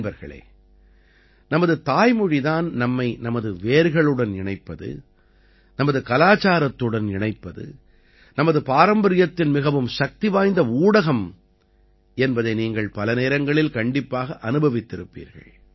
நண்பர்களே நமது தாய் மொழி தான் நம்மை நமது வேர்களுடன் இணைப்பது நமது கலாச்சாரத்துடன் இணைப்பது நமது பாரம்பரியத்தின் மிகவும் சக்திவாய்ந்த ஊடகம் என்பதை நீங்கள் பல நேரங்களில் கண்டிப்பாக அனுபவித்திருப்பீர்கள்